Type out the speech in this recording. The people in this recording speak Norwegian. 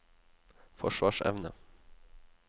forsvarsevne